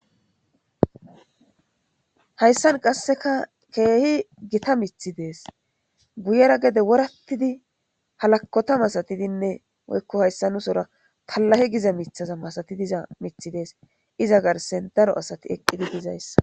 Haysan qaseka kehi gita mithi de'es guyera gede woratidi halakota masatidinne haysa nu sora kalahe giza mitaza masatizi diza des iza garsera daro asati eqidi dizaysa.